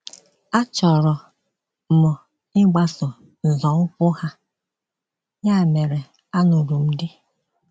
Achọrọ m ịgbaso nzọụkwụ ha, ya mere alụrụ m di.